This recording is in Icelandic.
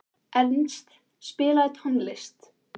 Ernst, spilaðu tónlist.